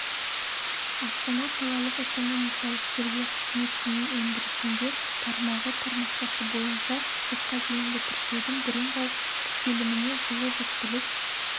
астана қалалық экономикалық тергеу қызметінің өндірісінде тармағы тармақшасы бойынша сотқа дейінгі тіркеудің бірыңғай тіркеліміне жылы жүктілік